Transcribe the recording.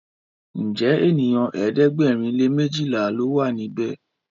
Njé ènìyàn ẹ̀ẹ́dẹ̀gbẹ̀rin lè mejila ló wà níbè?